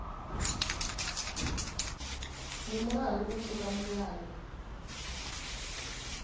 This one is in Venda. ndi mulandu u pfuka milayo